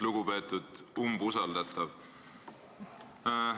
Lugupeetud umbusaldatav!